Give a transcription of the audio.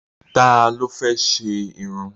Ta ló fẹ́ ṣe irun?